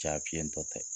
Ja fiɲɛ tɔ tɛ